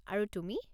আৰু তুমি?